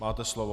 Máte slovo.